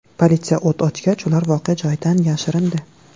Politsiya o‘t ochgach, ular voqea joyidan yashirindi.